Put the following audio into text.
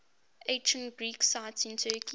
ancient greek sites in turkey